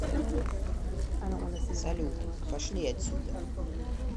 салют пошли отсюда